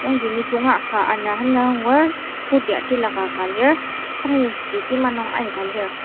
yangji nisung ka ana senzüa angur scooty tilaka ka lir tyres ji kima nung aika lir.